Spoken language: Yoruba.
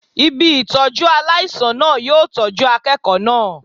Ibi Ìtọ́jú aláìsàn náà yóò tọ́jú akẹ́kọ̀ọ́ náà.